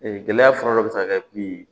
gɛlɛya fɔlɔ dɔ bɛ se ka kɛ min ye